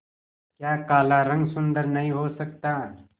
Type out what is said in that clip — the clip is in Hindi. क्या काला रंग सुंदर नहीं हो सकता